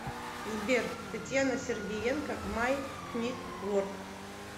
сбер татьяна сергиенко май книт ворк